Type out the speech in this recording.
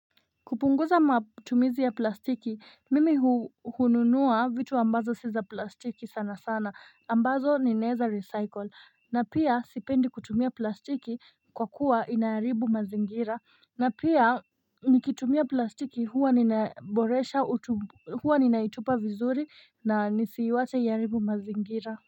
Kupunguza matumizi ya plastiki mimi hununua vitu ambazo si za plastiki sana sana ambazo ninaweza recycle na pia sipendi kutumia plastiki kwa kuwa inaharibu mazingira na pia nikitumia plastiki huwa ninaboresha huwa ninaitupa vizuri na nisiiwache iharibu mazingira.